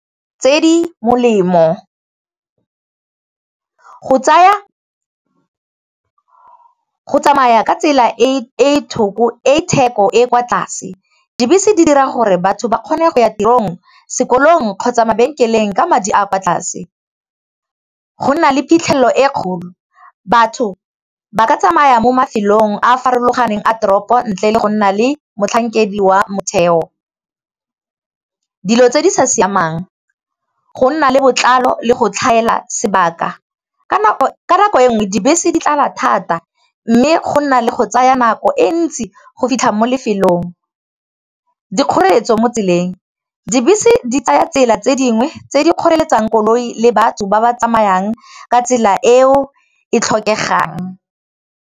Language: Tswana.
Tse di molemo go tsamaya ka tsela e theko e kwa tlase dibese di dira gore batho ba kgone go ya tirong sekolong kgotsa mabenkeleng ka madi a kwa tlase, go nna le phitlhelelo e kgolo batho ba ka tsamaya mo mafelong a a farologaneng a toropo ntle le go nna le motlhankedi wa motheo, dilo tse di sa siamang go nna le botlalo le go tlhaela sebaka ka nako e nngwe dibese di tlala thata mme go nna le go tsaya nako e ntsi go fitlha mo lefelong, dikgoreletsi mo tseleng dibese di tsaya tsela tse dingwe tse di kgoreletsang koloi le batho ba ba tsamayang ka tsela eo e tlhokegang.